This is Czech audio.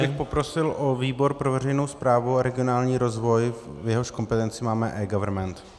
Já bych poprosil o výbor pro veřejnou správu a regionální rozvoj, v jehož kompetenci máme eGovernment.